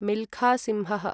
मिल्खा सिंहः